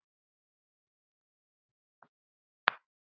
Hvernig sannar maður þessa hluti?